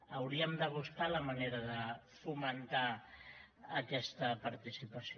hauríem de buscar la manera de fomentar aquesta participació